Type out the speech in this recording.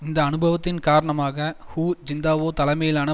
இந்த அனுபவத்தின் காரணமாக ஹூ ஜிந்தாவோ தலைமையிலான